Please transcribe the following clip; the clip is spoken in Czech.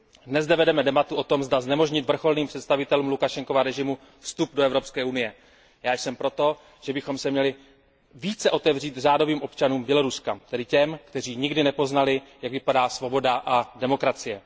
Dnes zde vedeme debatu o tom, zda znemožnit vrcholným představitelům Lukašenkova režimu vstup do Evropské unie. Já jsem pro to, že bychom se měli více otevřít řádovým občanům Běloruska, tedy těm, kteří nikdy nepoznali, jak vypadá svoboda a demokracie.